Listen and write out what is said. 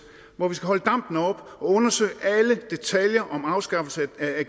hvor vi skal holde dampen oppe og undersøge alle detaljer om afskaffelse af